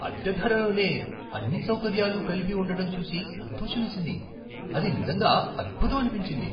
అద్దె ధరలోనే అన్ని సౌకర్యాలు కలిపి ఉండటం చూసి సంతోషమేసింది. అది నిజంగా అద్భుతమనిపించింది!